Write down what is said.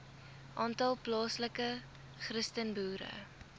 aantal plaaslike christenboere